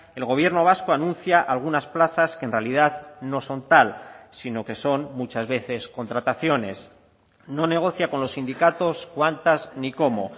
el gobierno vasco anuncia algunas plazas que en realidad no son tal sino que son muchas veces contrataciones no negocia con los sindicatos cuántas ni cómo